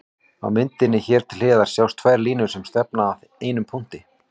Á myndinni hér til hliðar sjást tvær línur sem stefna að einum punkti.